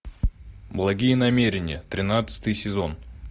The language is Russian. благие намерения тринадцатый сезон